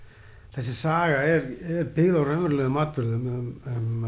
þessi saga er byggð á raunverulegum atburðum um